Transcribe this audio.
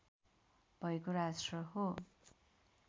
भएको राष्ट्र हो